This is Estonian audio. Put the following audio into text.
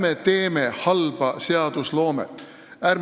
Ärme teeme halba seadusloomet!